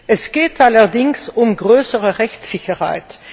Es geht allerdings um größere Rechtssicherheit.